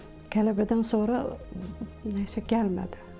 Qələbədən sonra nəsə gəlmədi.